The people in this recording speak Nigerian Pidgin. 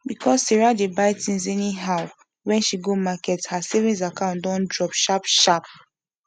because sarah dey buy things anyhow when she go market her savings account don drop sharp sharp